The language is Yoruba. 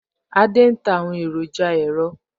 Adé ń ta àwọn èròjà ẹ̀rọ